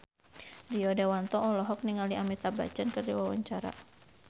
Rio Dewanto olohok ningali Amitabh Bachchan keur diwawancara